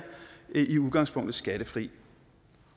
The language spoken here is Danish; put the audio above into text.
i udgangspunktet er skattefri